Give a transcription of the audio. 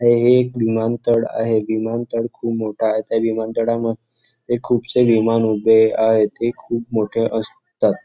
हे एक विमानतळ आहे विमानतळ खूप मोठे आहे त्या विमानतळावर खूपसे विमान उभे आहे ते खूप मोठे असतात.